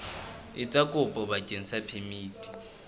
etsa kopo bakeng sa phemiti